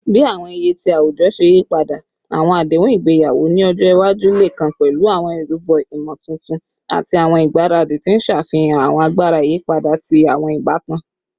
Bi awọn iye ti awujọ ṣe yipada, awọn adehun igbeyawo ni ọjọ iwaju le kan pẹlu awọn irubo imotuntun ati awọn igbaradi, ti n ṣe afihan awọn agbara iyipada ti awọn ibatan.